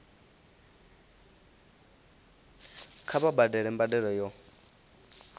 kha vha badele mbadelo yo